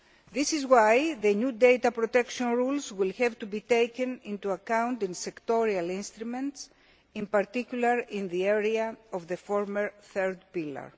This is why the new data protection rules will have to be taken into account in sectoral instruments, in particular in the area of the former third pillar.